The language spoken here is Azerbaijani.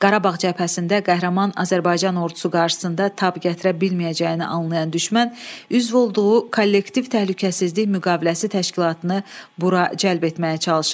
Qarabağ cəbhəsində qəhrəman Azərbaycan ordusu qarşısında tab gətirə bilməyəcəyini anlayan düşmən üzv olduğu kollektiv təhlükəsizlik müqaviləsi təşkilatını bura cəlb etməyə çalışırdı.